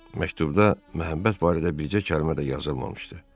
Məktubda məhəbbət barədə bircə kəlmə də yazılmamışdı.